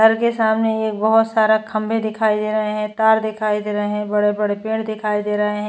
घर के सामने एक बोहोत सारा खंबे दिखाई दे रहे है। तार दिखाई दे रहे हैं। बड़े बड़े पेड़ दिखाई दे रहे हैं।